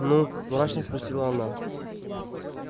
ну мрачно спросила она